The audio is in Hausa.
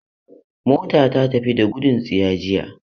Mota ta fita da gudun tsiya jiya.